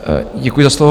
Děkuji za slovo.